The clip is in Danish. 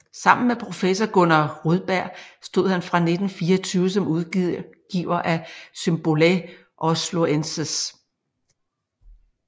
Sammen med professor Gunnar Rudberg stod han fra 1924 som udgiver af Symbolæ Osloenses